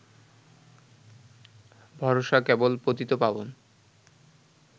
ভরসা কেবল পতিতপাবন